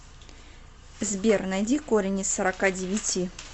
сбер найди корень из сорока девяти